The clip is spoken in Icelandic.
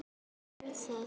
Já, hvernig var það?